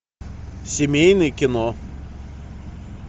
семейное кино